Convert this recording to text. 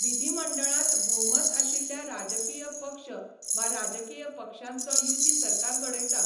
विधीमंडळांत भोवमत आशिल्ल्या राजकीय पक्ष वा राजकीय पक्षांचो युती सरकार घडयता.